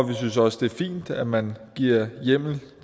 vi synes også det er fint at man giver hjemmel